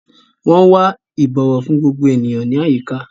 Wọn wà ibọwọ fún gbogbo ènìyàn ní àyíká.